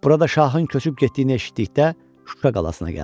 Burada şahın köçüb getdiyini eşitdikdə Şuşa qalasına gəldi.